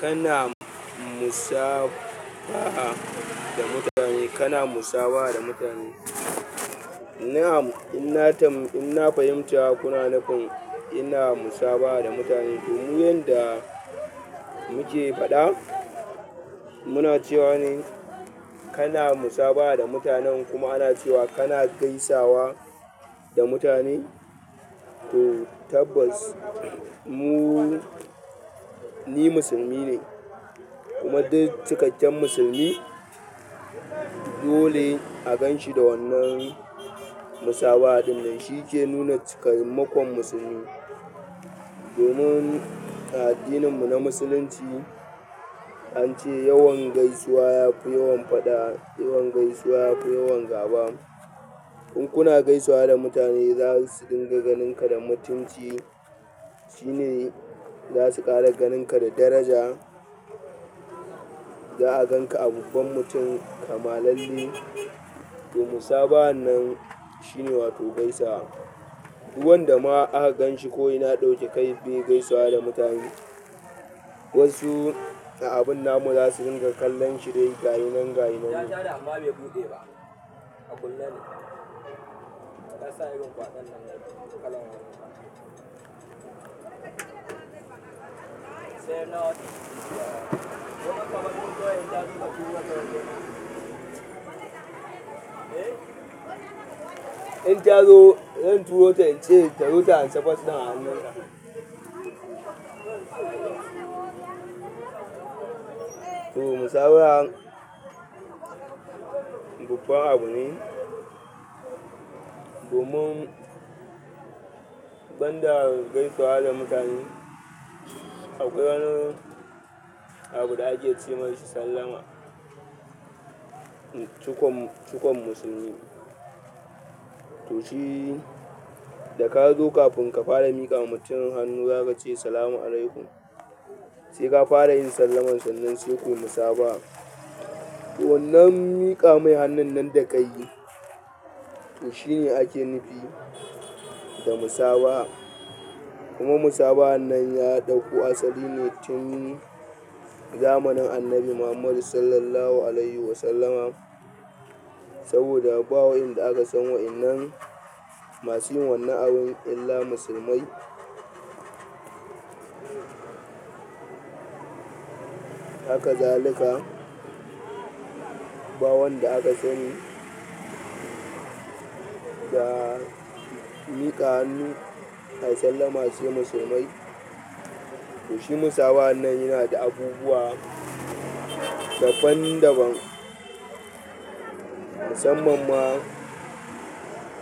Kana musabaha da mutane, kana musabaha da mutane. Na'am in na fahimta kuna nufin ina musabaha da mutane, to ni yanda nike faɗa muna cewa ne kana musaba'a da mutanen kuma ana cewa kana gaisawa da mutane. To tabbas mu, ni musulmi ne, kuma duk cikakken musulmi dole a ganshi da wannan musabaha ɗin nan shike nuna cikamakon musulmi domin a addininmu na musulunci an ce yawan gaisuwa yafi yawan faɗa, yawan gaisuwa yafi yawan gaba. In kuna gaisawa da mutane za su dinga ganin ka da mutunci. Shine za su ƙara ganin ka da daraja. Za'a ganka a babban mutum kamalalle to musabahan nan shine gaisawa, duk wanda ma aka ganshi kawai yana ɗauke kai bai gaisawa da mutane wasu na abun namu za su ringa kallon shi dai gashinan gashinan. In tazo zance ta zo ta ansa a hannun ka. To musaba'an babban abu ne. Domin banda gaisawa da mutane akwai wani abu da ake ce mishi sallama. Cukon, cukon musulmi. To shi da ka zo kafin ka fara miƙa wa mutumin hannu za ka ce "Salamu alaikum." Sai ka fara yin sallaman sannan sai kayi musabaha to wannan miƙa mai hannun nan da kayi to shi ne ake nufi da musabaha. Kuma musabahan nan ya ɗauko asali ne tun zamanin Annabi Muhammadu sallallahu alaihi wasallama. Saboda ba wa'enda akan san wa'enan masu yin wannan abun illa musulmai. Haka zalika ba wanda aka sani da miƙa hannu ayi sallama sai musulmai. Shi musabahan nan yana da abubuwa daban-daban. Musamman ma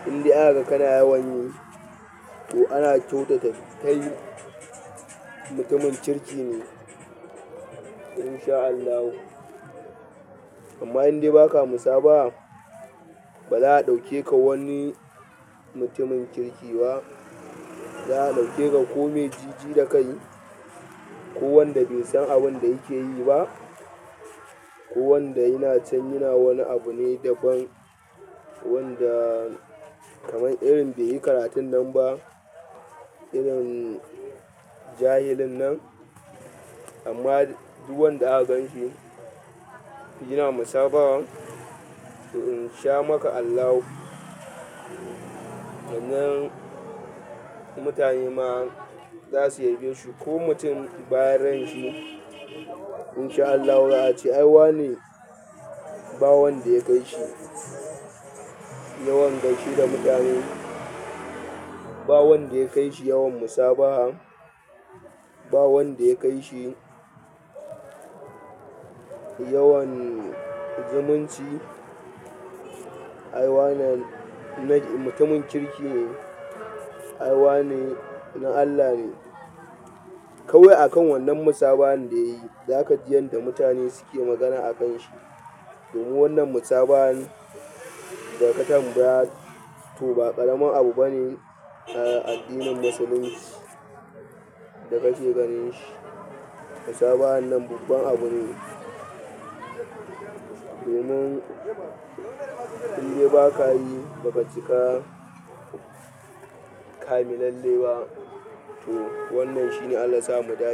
indai aka ga kana yawan yi to ana kyautata kai mutumin kirki ne in sha Allahu. Amma indai ba ka musabaha, ba za a ɗauke ka wani mutumin kirki ba. Za a ɗauke ka kome jiji da kai ko wanda bai san abin da yake yi ba ko wanda yana can yana wani abu ne daban wanda kaman irin bai yi karatun nan ba, irin jahilin nan. Amma duk wanda aka ganshi yana musabaha to in sha maka Allahu. Sannan mutane ma za su yabe su ko mutum bayan ran shi in sha Allahu za a ce ai wane ba wanda ya kai shi yawan gaishe da mutane. Ba wanda ya kai shi yawan musaba'a. Ba wanda ya kai shi yawan zumunci. Ai wannan mutumin kirki ne. Ai wane na Allah ne. Kawai a kan wannan musabahan da yayi za ka ji yanda mutane suke magana a kan shi. Domin wannan musabahan da ka tambaya, to ba ƙaramin abu bane a addinin musulunci da ka ce ganin shi. Musaba'an nan babban abu ne. Domin indai ba ka yi ba ka cika ƙamilalle ba to wannan shine Allah ya sa mu.